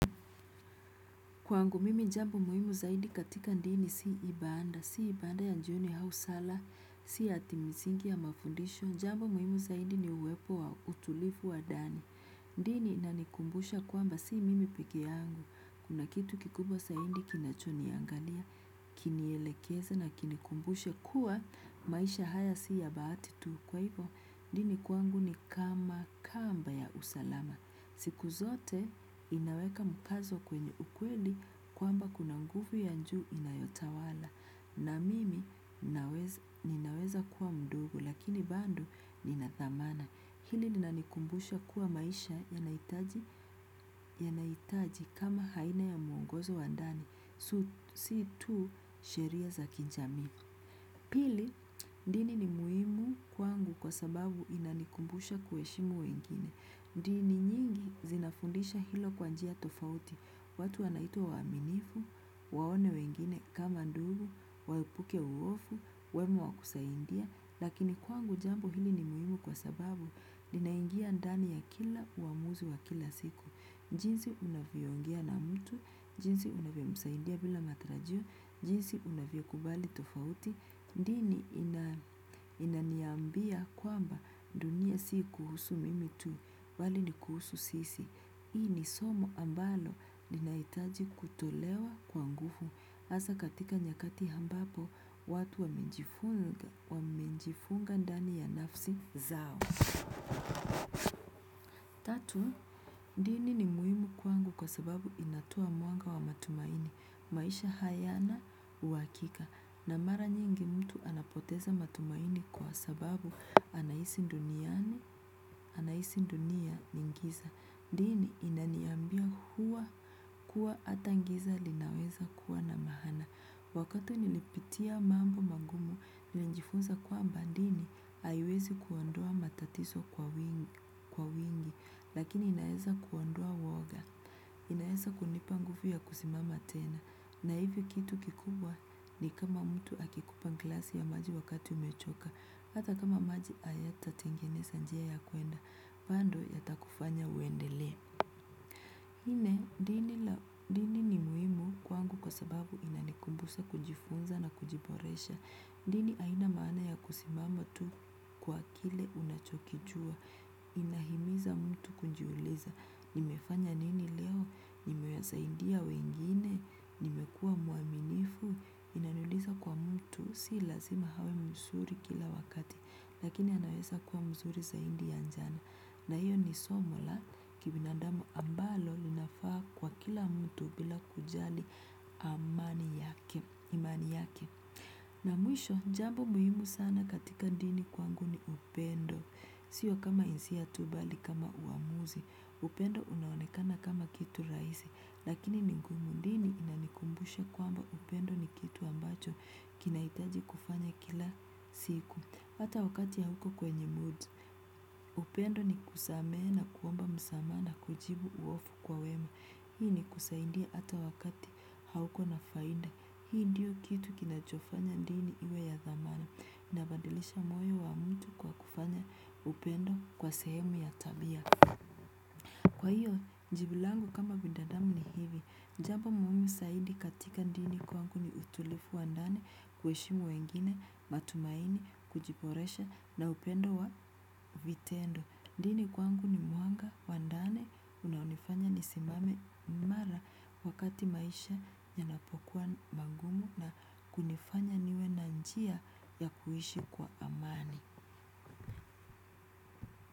Kwangu mimi jambo muhimu zaidi katika dini si ibada ya jioni au sala si ati msingi ya mafundisho dini inanikumbusha kwamba si mimi peke yangu, kuna kitu kikubwa zaidi kinacho niangalia, kini elekeza na kinikumbusha kuwa maisha haya si ya bahati tu. Kwa hivyo, dini kwangu ni kama kamba ya usalama. Siku zote inaweka mkazo kwenye ukweli kwamba kuna nguvu ya juu inayotawala. Na mimi ninaweza kuwa mdogo lakini bado nina dhamana. Hili linanikumbusha kuwa maisha yanahitaji kama aina ya mwongozo wa ndani. Si tu sheria za kijamii pili dini ni muhimu kwangu kwa sababu inanikumbusha kuheshimu wengine. Dini nyingi zinafundisha hilo kwa njia tofauti. Watu wanaitwa waaminifu waone wengine kama nduru waepuke uhofu wawe wa kusaidia. Lakini kwangu jambo hili ni muhimu kwa sababu linaingia ndani ya kila uamuzi wa kila siku. Jinsi unavyoongea na mtu, jinsi unavyo msaidia bila matarajio, jinsi unavyo kubali tofauti, dini inaniambia kwamba dunia si kuhusu mimi tu bali ni kuhusu sisi. Hii ni somo ambalo linahitaji kutolewa kwa nguvu, hasa katika nyakati ambapo watu wamejifunga ndani ya nafsi zao. Tatu, dini ni muhimu kwangu kwa sababu inatoa mwanga wa matumaini, maisha hayana uhakika, na mara nyingi mtu anapoteza matumaini kwa sababu anaishi duniani, anaishi dunia ingiza, dini inaniambia huwa kuwa hat giza linaweza kuwa na maana. Wakati nilipitia mambo magumu, nilijifunza kwamba dini haiwezi kuondoa matatizo kwa wingi lakini inaweza kuondoa woga inaweza kunipa nguvu ya kusimama tena. Na hivyo kitu kikubwa ni kama mtu akikupa glasi ya maji wakati umechoka hata kama maji hayata tengeneza njia ya kuenda, bado yata kufanya uendele. Nne, dini ni muhimu kwangu kwa sababu inanikumbusha kujifunza na kujiboresha. Dini haina maana ya kusimama tu kwa kile unachokijua. Inahimiza mtu kujiuliza. Nimefanya nini leo? Nimewasaidia wengine? Nimekuwa mwaminifu? Inaniuliza kwa mtu? Si lazima awe mzuri kila wakati. Lakini anaweza kuwa mzuri zaidi ya jana. Na hiyo ni somo la kibinadamu ambalo linafaa kwa kila mtu bila kujali imani yake. Na mwisho, jambo muhimu sana katika dini kwangu ni upendo. Sio kama hisia tu bali kama uamuzi. Upendo unaonekana kama kitu rahisi. Lakini ni gumu dini inanikumbusha kwamba upendo ni kitu ambacho kinahitaji kufanya kila siku. Hata wakati hauko kwenye mood. Upendo ni kusamehe na kuomba msamaha na kujibu uhofu kwa wema. Hii ni kusaidia hata wakati hauko na faida. Hii ndiyo kitu kinachofanya dini iwe ya dhamana. Ina badilisha moyo wa mtu kwa kufanya upendo kwa sehemu ya tabia. Kwa hiyo, jibu langu kama binadamu ni hivi, jambo muhimu zaidi katika dini kwangu ni utulivu wa ndani, kuheshimu wengine, matumaini, kujiboresha na upendo wa vitendo. Dini kwangu ni mwanga wa ndani unaonifanya nisimame mara wakati maisha yanapokuwa magumu na kunifanya niwe na njia ya kuishi kwa amani.